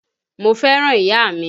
Mo fẹ́ràn ìyá mi